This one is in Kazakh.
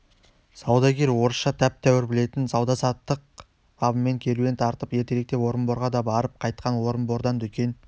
саудагер орысша тәп-тәуір білетін сауда-саттық бабымен керуен тартып ертеректе орынборға да барып қайтқан орынбордан дүкен